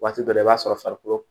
Waati dɔ la i b'a sɔrɔ farikolo